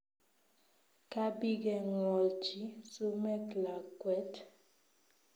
Kabigengwolji sumek lakwet